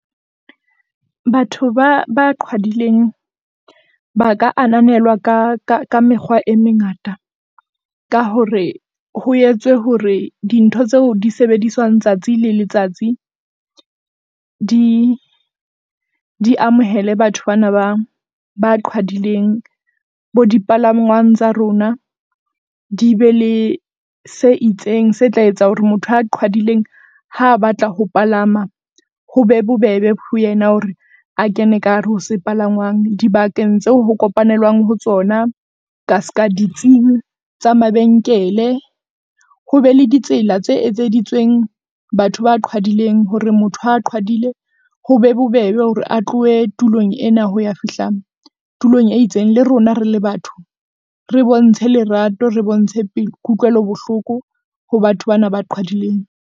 Batho ba ba qhwadileng ba ka ananelwa ka ka ka mekgwa e mengata. Ka hore ho etswe hore dintho tseo di sebediswang tsatsi le letsatsi di di amohele batho bana ba ba qhwadileng. Bo dipalangwang tsa rona di be le se itseng. Se tla etsa hore motho ya qhwadileng ha a batla ho palama ho be bobebe ho yena hore a kene ka hare ho sepalangwang dibakeng tseo ho kopanelwang ho tsona. Ka ska ditsing tsa mabenkele, ho be le ditsela tse etseditsweng batho ba qhwadileng hore motho ha qhwadile, ho be bobebe hore a tlohe tulong ena ho ya fihla tulong e itseng. Le rona rele batho re bontshe lerato, re bontshe kutlwelobohloko ho batho bana ba qhwadileng.